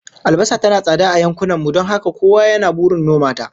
Albasa tana tsada a yankunan mu don haka kowa yana burin noma ta